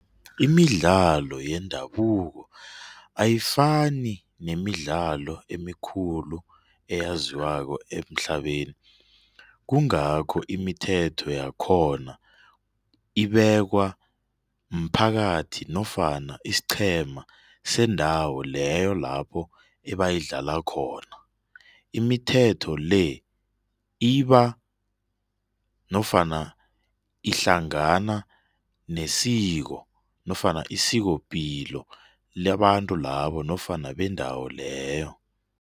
Imidlalo yendabuko ayifani nemidlalo emikhulu eyaziwako emhlabeni kungakho imithetho yakhona ebekwa mphakathi nofana isiqhema sendawo leyo lapho ebayidlala khona. Imithetho le ibe iba nofana ihlangana nesiko nofana isikopilo labantu labo nofana bendawo leyo.